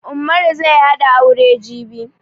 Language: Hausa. Ummaru zai hada aure jibi